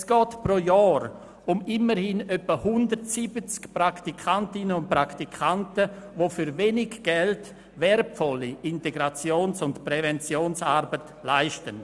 Es geht pro Jahr um immerhin etwa 170 Praktikantinnen und Praktikanten, die für wenig Geld wertvolle Integrations- und Präventionsarbeit leisten.